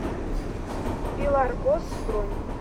пеларгос бронь